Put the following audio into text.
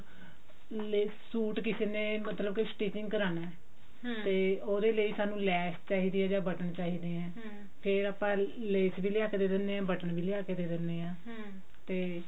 ਜੇ ਸੂਟ ਕਿਸੇ ਨੇ ਮਤਲਬ ਕੇ stitching ਕਰਵਾਉਣਾ ਉਹਦੇ ਲਈ ਸਾਨੂੰ ਲੈਸ ਚਾਹੀਦੀ ਹੈ ਜਾਂ ਬਟਨ ਚਾਹੀਦੇ ਨੇ ਫ਼ੇਰ ਆਪਾਂ ਲੈਸ ਵੀ ਲਿਆ ਕੀ ਦੇ ਦਿੰਦੇ ਹਾਂ ਬਟਨ ਵੀ ਲਿਆ ਕਿ ਦੇ ਦਿੰਦੇ ਹਾਂ ਤੇ